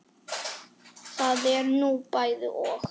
Það er nú bæði og.